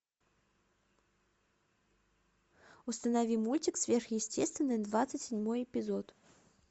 установи мультик сверхъестественное двадцать седьмой эпизод